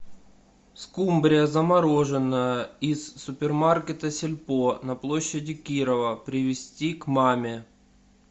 скумбрия замороженная из супермаркета сельпо на площади кирова привезти к маме